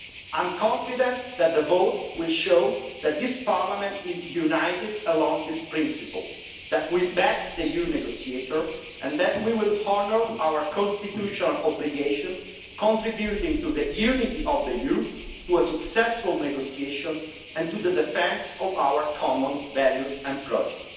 I am confident that the vote will show that this Parliament is united in line with this principle, that we back the EU negotiator and that we will honour our constitutional obligations, contributing to that unity of the EU, to a successful negotiation and to the defence of our common values and projects.